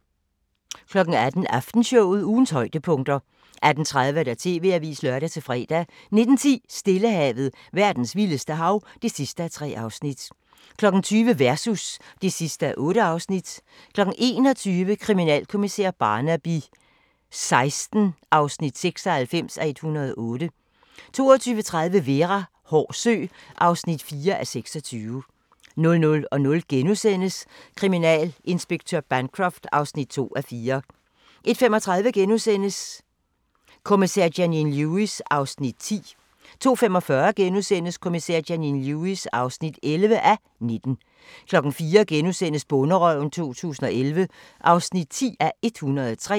18:00: Aftenshowet – ugens højdepunkter 18:30: TV-avisen (lør-fre) 19:10: Stillehavet – verdens vildeste hav (3:3) 20:00: Versus (8:8) 21:00: Kriminalkommissær Barnaby XVI (96:108) 22:30: Vera: Hård sø (4:26) 00:00: Kriminalinspektør Bancroft (2:4)* 01:35: Kommissær Janine Lewis (10:19)* 02:45: Kommissær Janine Lewis (11:19)* 04:00: Bonderøven 2011 (10:103)*